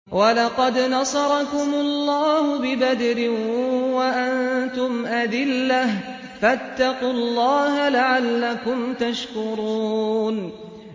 وَلَقَدْ نَصَرَكُمُ اللَّهُ بِبَدْرٍ وَأَنتُمْ أَذِلَّةٌ ۖ فَاتَّقُوا اللَّهَ لَعَلَّكُمْ تَشْكُرُونَ